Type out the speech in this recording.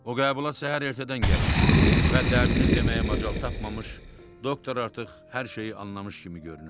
O qəbula səhər ertədən gəlmişdi və dərdini deməyə macal tapmamış doktor artıq hər şeyi anlamış kimi görünürdü.